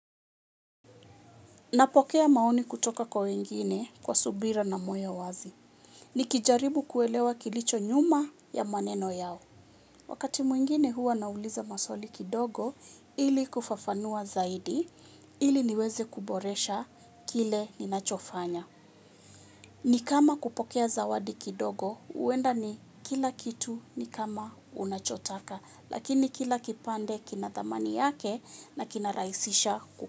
Napokea maoni kutoka kwa wengine kwa subira na moyo wazi. Nikijaribu kuelewa kilicho nyuma ya maneno yao. Wakati mwingine huwa nauliza maswali kidogo ili kufafanua zaidi ili niweze kuboresha kile ninachofanya. Ni kama kupokea zawadi kidogo huenda ni kila kitu ni kama unachotaka lakini kila kipande kina thamani yake na kinarahisisha ku.